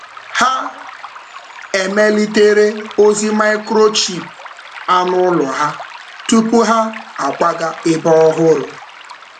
um Ha emelitere ozi microchip anụ um ụlọ ha tupu ha akwaga ebe ọhụrụ. um